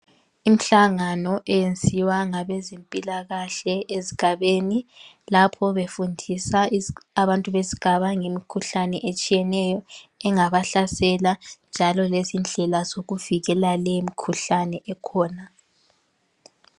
Imihlangano eyenziwa ngabezempilakahle ezigabeni lapho befundisa abantu besigaba ngemikhuhlane etshiyeneyo engabahlasela njalo lezindlela zokuzivikela leyo mkhuhlane ekhona.